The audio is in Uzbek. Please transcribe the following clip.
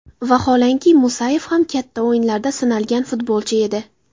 Vaholanki, Musayev ham katta o‘yinlarda sinalgan futbolchi edi.